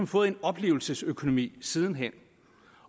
fået en oplevelsesøkonomi siden hen